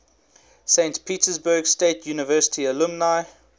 saint petersburg state university alumni